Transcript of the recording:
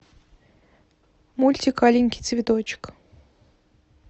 мультик аленький цветочек